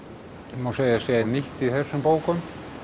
má segja segja nýtt í þessum bókum